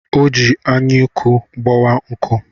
O ji anyụnku gbawaa nkụ.